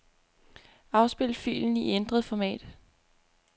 Afspil filen i ændret format.